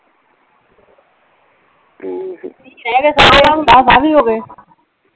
ਵੀਹ ਰਹਿ ਗਏ ਦਸ ਆਹ ਵੀ ਹੋ ਗਏ।